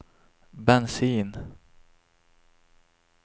bensin